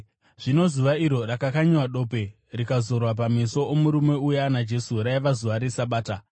Zvino zuva iro rakakanyiwa dope rikazorwa pameso omurume uya naJesu, raiva zuva reSabata.